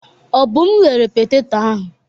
Obum ghere petetọ ahụ.